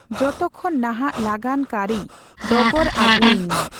ᱡᱚᱛᱚ ᱠᱷᱚᱱ ᱱᱟᱦᱟᱜ ᱞᱟᱜᱟᱱ ᱠᱟᱹᱨᱤ ᱰᱚᱜᱚᱨ ᱟᱹᱜᱩᱤᱧᱢᱮ